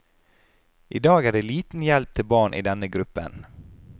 I dag er det liten hjelp til barn i denne gruppen.